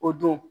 O don